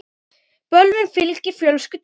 Bölvun fylgir fölsku tali.